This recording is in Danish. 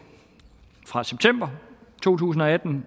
fra september to tusind og atten